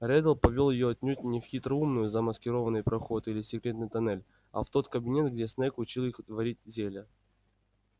реддл повёл её отнюдь не в хитроумно замаскированный проход или секретный тоннель а в тот кабинет где снегг учил их варить зелья